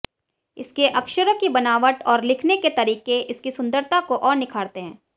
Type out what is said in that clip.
इसके अक्षरों की बनावट और लिखने के तरीके इसकी सुंदरता को और निखारते हैं